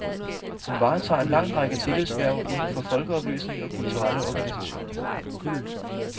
Hun varetager en lang række tillidshverv indenfor folkeoplysning og kulturelle organisationer.